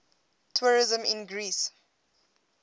tourism in greece